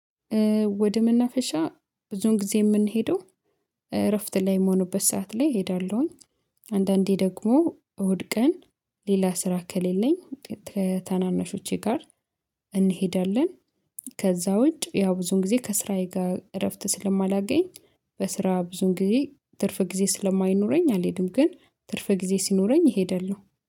ወደ መናፈሻ ብዙን ጊዜ የምንሄደው እረፍት ላይ የምሆኑበት ሰዓት ላይ እሄዳለሁኝ። አንዳንዴ ደግሞ እሁድ ቀን ሌላ ስራ ከሌለኝ ከታናናሾቼ ጋር እንሄዳለን። ከዛ ውጭ ያው ብዙን ጊዜ ከስራዬ ጋር እረፍት ስለማላገኝ በስራ ብዙን ጊዜ ትርፍ ጊዜ ስለማይኖረኝ አልሄድም። ግን ትርፍ ጊዜ ሲኖረኝ እሄዳለሁ